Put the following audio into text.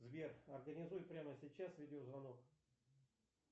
сбер организуй прямо сейчас видео звонок